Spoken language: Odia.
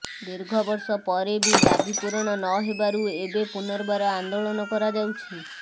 ଦୀର୍ଘ ବର୍ଷ ପରେ ବି ଦାବୀ ପୂରଣ ନହେବାରୁ ଏବେ ପୁନର୍ବାର ଆନ୍ଦୋଳନ କରାଯାଉଛି